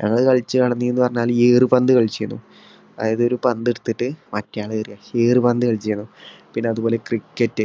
ഞങ്ങൾ കളിച്ചു നടന്നിരുന്നുന്ന് പറഞ്ഞാൽ ഈ ഏറു പന്ത് കളിച്ചിരുന്നു. അതായത് ഒരു പന്ത് എടുത്തിട്ട് മറ്റേ ആളെ എറിയുക. ഏറു പന്ത് കളിച്ചിരുന്നു പിന്നെ അതുപോലെ cricket